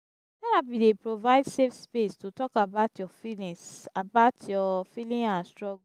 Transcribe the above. therapy dey provide safe space to talk about your feeling about your feeling and struggle.